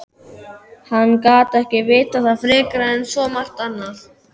Hann gat ekki vitað það frekar en svo margt annað.